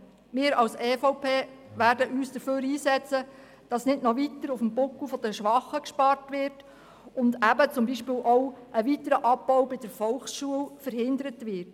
Wir als EVP werden uns dafür einsetzen, dass nicht noch weiter auf dem Buckel der Schwachen gespart wird und dass zum Beispiel auch ein weiterer Abbau bei der Volksschule verhindert wird.